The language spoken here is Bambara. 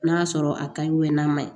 N'a sɔrɔ a ka ɲi n'a ma ɲi